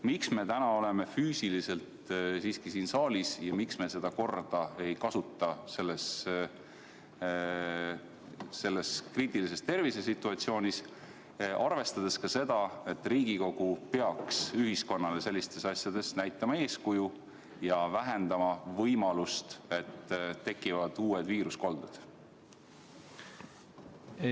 Miks me täna oleme füüsiliselt siiski siin saalis ja miks me seda korda praeguses kriitilises tervisesituatsioonis ei kasuta, arvestades seda, et Riigikogu peaks sellistes asjades näitama ühiskonnale eeskuju ja vähendama võimalust, et tekivad uued viiruskolded?